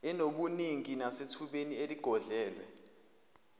enobunini nasethubeni eligodlelwe